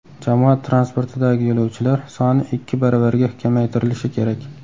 Jamoat transportidagi yo‘lovchilar soni ikki baravarga kamaytirilishi kerak.